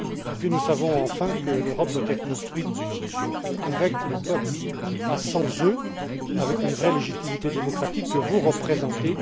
Puis, nous savons enfin que l'Europe doit être construite avec les peuples, et pas sans eux, avec une vraie légitimité démocratique que vous représentez.